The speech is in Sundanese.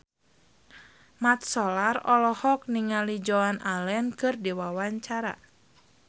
Mat Solar olohok ningali Joan Allen keur diwawancara